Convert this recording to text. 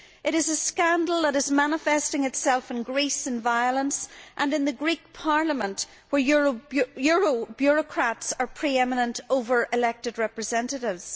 It is a scandal that is manifesting itself in Greece in violence, and in the Greek Parliament where euro bureaucrats are pre eminent over elected representatives.